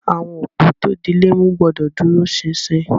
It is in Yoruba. Awọn opó tó dílẹ̀ mú gbọ̀dọ̀ dúró sínsín.